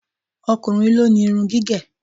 O̩kùnrin ló ni irun gígè̩.